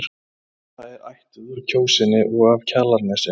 Svava er ættuð úr Kjósinni og af Kjalarnesi.